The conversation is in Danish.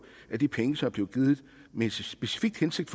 at de penge som er blevet givet med en specifik hensigt